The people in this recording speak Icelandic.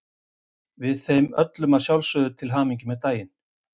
Við þeim öllum að sjálfsögðu til hamingju með daginn.